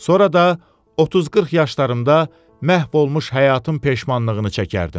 Sonra da 30-40 yaşlarımda məhv olmuş həyatın peşmançılığını çəkərdim.